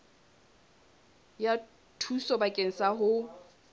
ya thuso bakeng sa ho